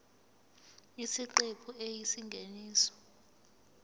isiqephu a isingeniso